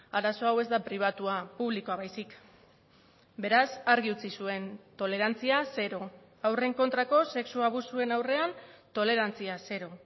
arazo hau ez da pribatua publikoa baizik beraz argi utzi zuen tolerantzia zero haurren kontrako sexu abusuen aurrean tolerantzia zero